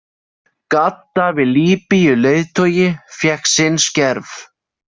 Gaddafi Líbýuleiðtogi fékk sinn skerf.